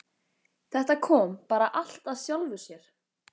Þetta kom bara allt af sjálfu sér.